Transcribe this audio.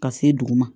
Ka se dugu ma